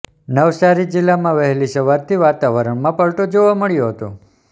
નવસારી જીલ્લામાં વહેલી સવારથી વાતાવરણમાં પલટો જોવા મળ્યો હતો